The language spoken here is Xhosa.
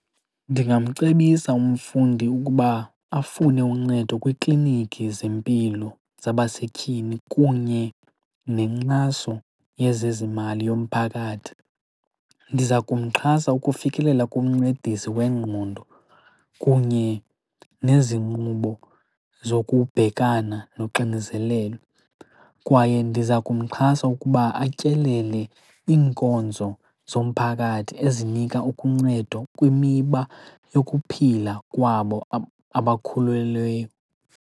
Ndingamcebisa umfundi ukuba afune uncedo kwiiklinikhi zempilo zabasetyhini kunye nenkxaso yezezimali yomphakathi. Ndiza kumxhasa ukufikelela kumncedisa wengqondo kunye nezinqubo zokubhekana noxinizelelo. Kwaye ndiza kumxhasa ukuba atyelele iinkonzo zomphakathi ezinika ukuncedo kwimiba yokuphila kwabo abakhulelweyo.